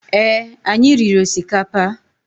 Ee, anyị riri osikapa